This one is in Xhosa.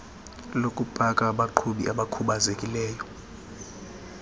lokupaka labaqhubi abakhubazekileyo